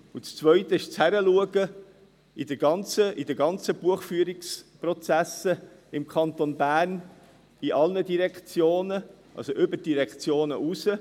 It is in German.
Das Zweite ist das Hinschauen auf die ganzen Buchführungsprozesse im Kanton Bern, bei allen Direktionen, also über die Direktionen hinweg: